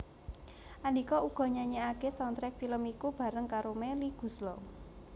Andhika uga nyanyèkaké soundtrack film iku bareng karo Melly Goeslaw